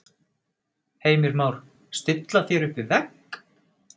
Heimir Már: Stilla þér upp við vegg?